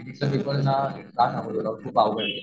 चा पेपर खूप अवघड घेला.